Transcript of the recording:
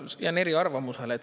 Ma jään eriarvamusele.